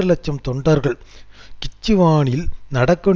இலட்சம் தொண்டர்கள் கிச்சுவானில் நடக்கும்